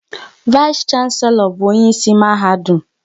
Vais shanselo bụ onyeisi Mahadum